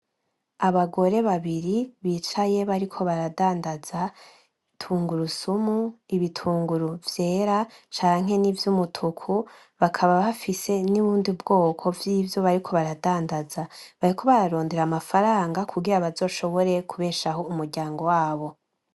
Abagore babiri bicaye bariko baradandaza tungurusumu, ibitunguru vyera canke n'ivyumutuku, bakaba bafise n'ubundi bwoko bw'ivyo bariko baradandaza. Bariko bararondera amafaranga kugira ngo bazoshobore kubeshaho umuryango wabo.